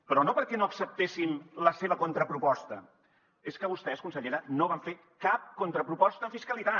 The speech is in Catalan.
però no perquè no acceptéssim la seva contraproposta és que vostès consellera no van fer cap contraproposta en fiscalitat